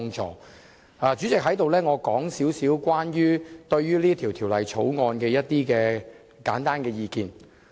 代理主席，我想在此就這項《條例草案》提出一點簡單的意見。